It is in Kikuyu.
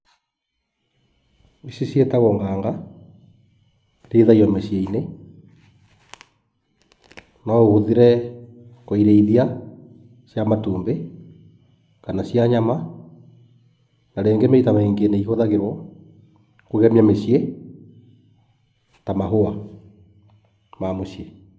Ici ciĩtagwo nganga. Irĩithagio mĩciĩ-inĩ. No ũhũthĩre kũirĩithia cia matumbĩ, kana cia nyama. Na rĩngĩ maita maingĩ nĩ ihũthagĩrwo kũgemia mĩciĩ ta mahũa ma muciĩ.